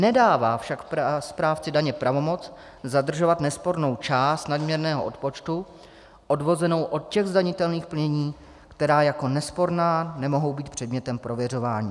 Nedává však správci daně pravomoc zadržovat nespornou část nadměrného odpočtu odvozenou od těch zdanitelných plnění, která jako nesporná nemohou být předmětem prověřování."